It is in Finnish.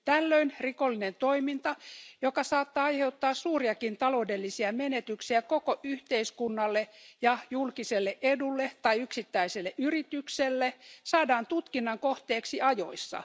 Tällöin rikollinen toiminta, joka saattaa aiheuttaa suuriakin taloudellisia menetyksiä koko yhteiskunnalle ja julkiselle edulle tai yksittäiselle yritykselle, saadaan tutkinnan kohteeksi ajoissa.